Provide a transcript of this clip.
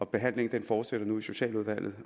behandlingen fortsætter nu i socialudvalget